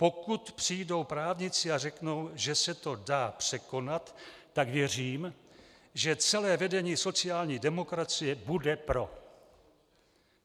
"Pokud přijdou právníci a řeknou, že se to dá překonat, tak věřím, že celé vedení sociální demokracie bude pro."